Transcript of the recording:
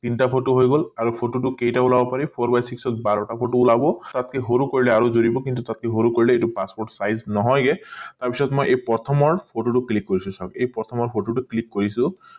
তিনটা photo হৈ গল আৰু photo টো কেইটা ওলাব পাৰি four by six ট বাৰটা photo ওলাব তাতকে সৰু কৰিলে আৰু যুৰিব কিন্তু তাতকে সৰু কৰিলে passport size নহয় গে তাৰ পিছত মই এই প্ৰথমৰ photo টো click কৰিছো চাওক এই প্ৰথমৰ photo টো click কৰিছো